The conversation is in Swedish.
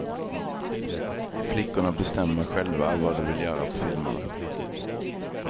Flickorna bestämmer själva vad de vill göra på filmerna.